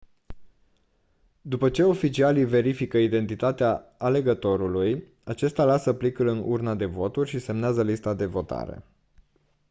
după ce oficialii verifică identitatea alegătorului acesta lasă plicul în urna de voturi și semnează lista de votare